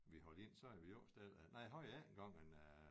Vi holdt ind så havde vi låst døren nej havde vi ikke engang men øh